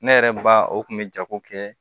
Ne yɛrɛ ba o kun bɛ jago kɛ